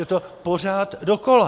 Je to pořád dokola.